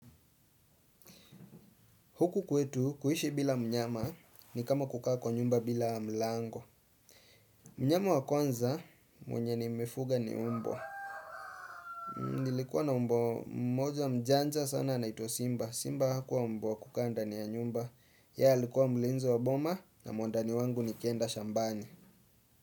Huku kwetu kuhishi bila mnyama ni kama kukaa kwa nyumba bila mlango. Mnyama wa kwanza mwenye nimefuga ni umbwa. Nilikuwa na umbo mmoja mjanja sana anaitwa Simba. Simba hakuwa umbwa wa kukaa ndani ya nyumba. Ye alikuwa mlinzi wa boma na mwandani wangu nikienda shambani.